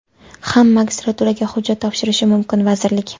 ham magistraturaga hujjat topshirishi mumkin - vazirlik.